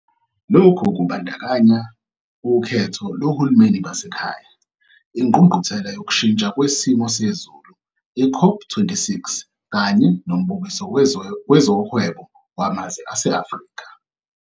Lokhu kubandakanya ukhetho lohulumeni basekhaya, ingqungquthela yokushintsha kwesimo sezulu ye-COP26 kanye noMbukiso Wezohwebo Wamazwe ase-Afrika.